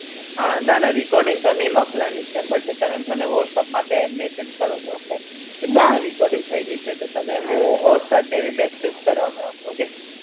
હા ના ના recording તો ની મોકલાની છે but તમને મને whatsapp માથે massage કર દો okay કે તમાર recording થઇ ગઈ છે તો તમે મો કરવું okay